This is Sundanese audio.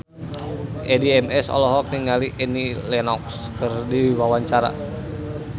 Addie MS olohok ningali Annie Lenox keur diwawancara